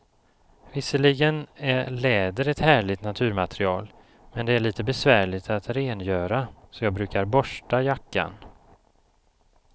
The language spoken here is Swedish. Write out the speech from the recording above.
Visserligen är läder ett härligt naturmaterial, men det är lite besvärligt att rengöra, så jag brukar borsta jackan.